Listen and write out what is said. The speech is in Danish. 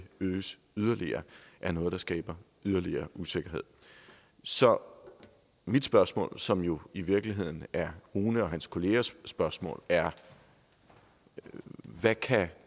øges yderligere er noget der skaber yderligere usikkerhed så mit spørgsmål som jo i virkeligheden er rune og hans kollegaers spørgsmål er hvad kan